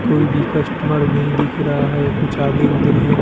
कोई भी कस्टमर नहीं दिख रहा है कुछ आगे उधर है।